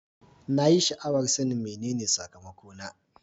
Na yi sha'awar son sanin menene sakamakona.